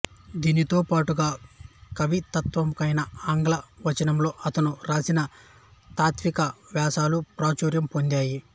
దీనితోపాటుగా కవితాత్మకమైన ఆంగ్ల వచనంలో అతను రాసిన తాత్త్విక వ్యాసాలు ప్రాచుర్యం పొందాయి